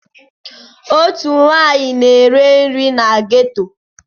Otu nwaanyị na-ere nri na geto.